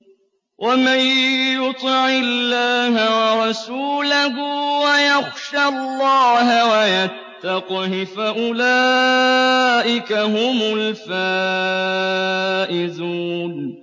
وَمَن يُطِعِ اللَّهَ وَرَسُولَهُ وَيَخْشَ اللَّهَ وَيَتَّقْهِ فَأُولَٰئِكَ هُمُ الْفَائِزُونَ